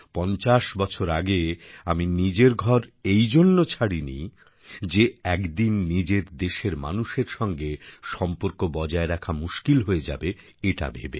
৫০ বছর আগে আমি নিজের ঘর এই জন্য ছাড়েনি যে একদিন নিজের দেশের মানুষের সঙ্গে সম্পর্ক বজায় রাখা মুশকিল হয়ে যাবে এটা ভেবে